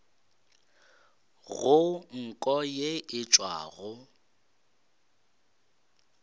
go nko ye e tšwago